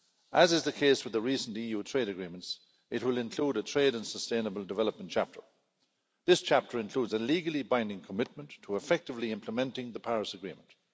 As is the case with the recent EU trade agreements, it will include a trade and sustainable development' chapter. This chapter includes a legally binding commitment to effectively implementing the Paris Agreement.